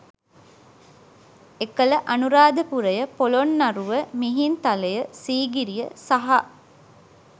එකල අනුරාධපුරය, පොළොන්නරුව, මිහින්තලය, සීගිරිය සහ